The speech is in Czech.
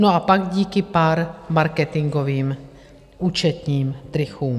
No a pak díky pár marketingovým účetním trikům.